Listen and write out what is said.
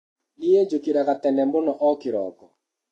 Nie njũkĩraga tene mũno o kĩroko.